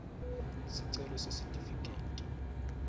sicelo sesitifiketi